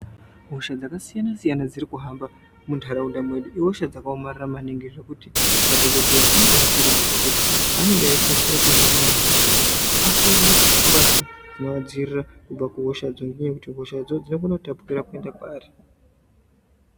Hosha dzaka siyana siyana dziri kuhamba mundaraunda medu ihosha dzaka omarara maningi zvekuti madhokodheya anobai kurudzirwa kuti paanenge eyi batsira antu kuhina anhu hosha dzo ashonge mbatya dzino adzivirira kubva kuhosha dzo ngekuti hosha dzo dzino kona kutapukira kuenda kwavari.